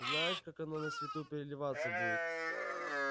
знаешь как оно на свету переливаться будет